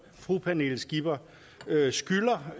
fru pernille skipper skylder